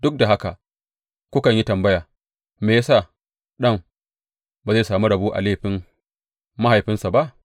Duk da haka kukan yi tambaya, Me ya sa ɗan ba zai sami rabo a laifin mahaifinsa ba?’